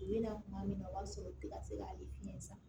U bɛ na kuma min na o b'a sɔrɔ u ti ka se k'ale fiɲɛ san